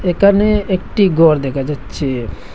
একানে একটি গর দেখা যাচ্ছে।